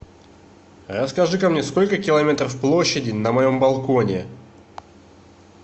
расскажи ка мне сколько километров площади на моем балконе